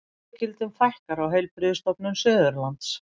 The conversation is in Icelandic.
Stöðugildum fækkar á Heilbrigðisstofnun Suðurlands